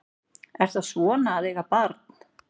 Er það svona að eiga barn?